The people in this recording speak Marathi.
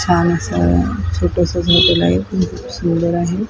छानसं छोटसंच हॉटेल आहे खूप सुंदर आहे.